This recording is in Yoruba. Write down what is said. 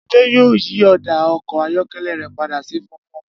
Adé yóò yí ò̩dà o̩kò̩ ayó̩ké̩lé̩ rè̩ pada sí funfun